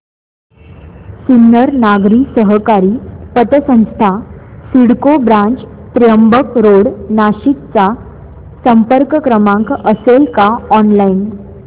सिन्नर नागरी सहकारी पतसंस्था सिडको ब्रांच त्र्यंबक रोड नाशिक चा संपर्क क्रमांक असेल का ऑनलाइन